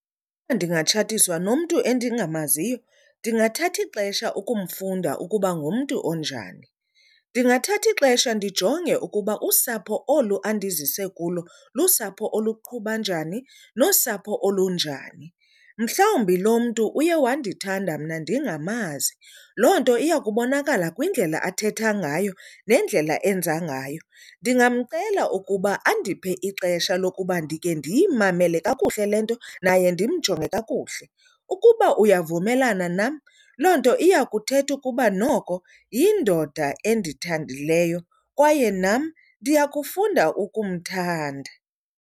Uba ndingatshatiswa nomntu endingamaziyo ndingathatha ixesha ukumfunda ukuba ngumntu onjani. Ndingathatha ixesha ndijonge ukuba usapho olu andizise kulo lusapho oluqhuba njani nosapho olunjani. Mhlawumbi lo mntu uye wandithanda mna ndingamazi loo nto iya kubonakala kwindlela athetha ngayo nendlela enza ngayo. Ndingamcela ukuba andiphe ixesha lokuba ndike ndiyimamele kakuhle le nto naye ndimjonge kakuhle. Ukuba uyavumelana nam, loo nto iya kuthetha ukuba noko yindoda endithandileyo kwaye nam ndiya kufunda ukumthanda.